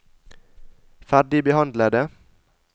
ferdigbehandlede